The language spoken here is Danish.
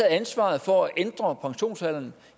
ansvaret for at ændre pensionsalderen